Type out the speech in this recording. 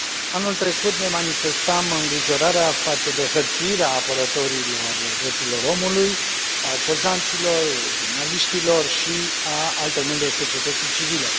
Anul trecut ne manifestam îngrijorarea față de hărțuirea apărătorilor drepturilor omului, a opozanților, jurnaliștilor și a altor membri ai societății civile.